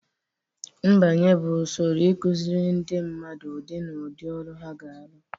Mbanye bụ usoro ịkụziri ndị mmadụ ụdị na ụdị ọrụ ha ga-arụ